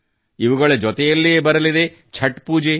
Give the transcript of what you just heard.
ಇವುಗಳ ಜೊತೆಯಲ್ಲೇ ಬರಲಿದೆ ಛತ್ ಪೂಜೆ